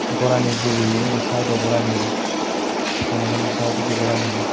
Gorani dubeye undi siedo gorani panigano siedo gorani.